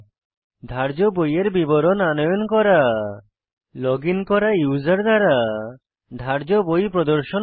ধার্য বইয়ের বিবরণ আনয়ন করা লগইন করা ইউসার দ্বারা ধার্য বই প্রদর্শন করা